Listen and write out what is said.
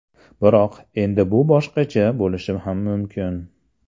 Biroq, endi bu boshqacha bo‘lishi ham mumkin.